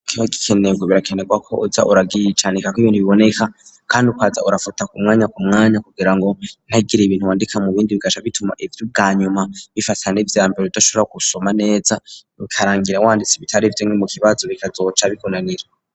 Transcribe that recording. Ikibaho c,isomero birakenerwa ko uja uracandikako ibintu biboneka kandi ukaza urafuta kumwanya kumwanya kugira ngo ntihagire ibintu wandika mu bindi bigaca bituma ibiri ubwa nyuma bifatana n,ivyambere udashobora gusoma neza bikarangira wanditse ibitari vyo nko mu kibazo bikazoca bikunanira